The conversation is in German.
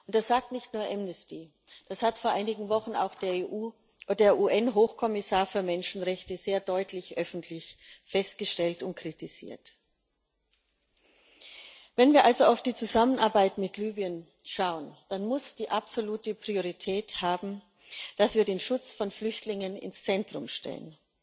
Das sagt nicht nur Amnesty, das hat vor einigen Wochen auch der UN Hochkommissar für Menschenrechte sehr deutlich öffentlich festgestellt und kritisiert. Wenn wir also auf die Zusammenarbeit mit Libyen schauen, dann muss absolute Priorität haben, dass wir den Schutz von Flüchtlingen ins Zentrum stellen.